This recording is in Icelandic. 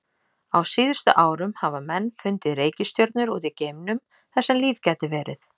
Á síðustu árum hafa menn fundið reikistjörnur út í geimnum þar sem líf gæti verið.